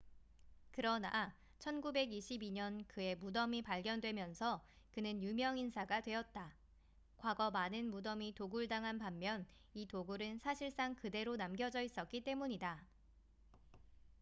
그러나 1922년 그의 무덤이 발견되면서 그는 유명 인사가 되었다 과거 많은 무덤이 도굴당한 반면 이 동굴은 사실상 그대로 남겨져 있었기 때문이다